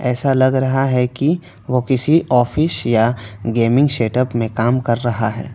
ऐसा लग रहा हैं कि वो किसी ऑफिस या गेमिंग सेट अप में काम कर रहा हैं।